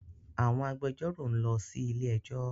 Àwọn agbẹjọro nlọ sí ilé ẹjó